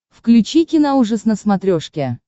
включи киноужас на смотрешке